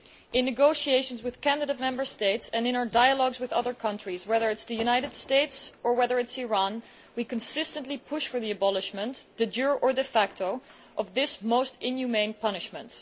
In negotiations with candidate Member States and in our dialogues with other countries, whether it is the United States or whether it is Iran, we consistently push for the abolition, de jure or de facto, of this most inhumane punishment.